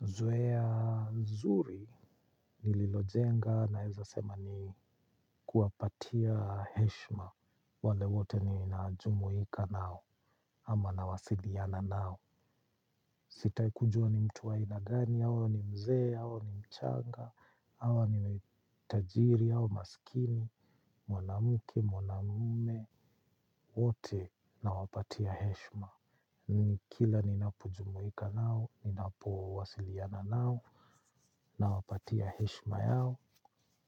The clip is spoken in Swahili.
Zoea zuri, nililojenga naeza sema ni kuwapatia heshma. Wale wote ni na jumuika nao, ama na wasiliana nao. Sitai kujua ni mtu wa ainagani, hawa ni mzee, hawe ni mchanga, hawa ni tajiri, hawa masikini, mwanamuke, mwanamume, wote na wapatia heshma. Nini kila ninapo jumuika nao, ninapo wasiliana nao, na wapatia heshma yao,